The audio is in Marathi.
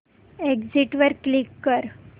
एग्झिट वर क्लिक कर